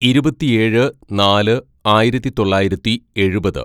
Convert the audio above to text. "ഇരുപത്തിയേഴ് നാല് ആയിരത്തിതൊള്ളായിരത്തി എഴുപത്‌